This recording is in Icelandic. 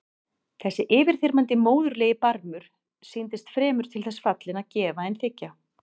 Þessi yfirþyrmandi móðurlegi barmur sýndist fremur til þess fallinn að gefa en þiggja.